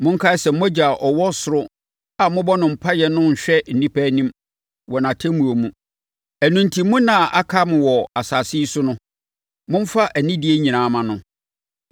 Monkae sɛ mo Agya a ɔwɔ ɔsoro a mobɔ no mpaeɛ no renhwɛ nnipa anim wɔ nʼatemmuo mu. Ɛno enti mo nna a aka mo wɔ asase yi so no, momfa anidie nyinaa mma no.